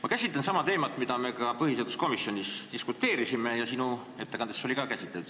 Ma käsitlen teemat, mille üle me ka põhiseaduskomisjonis diskuteerisime ja mida sinu ettekandes oli samuti käsitletud.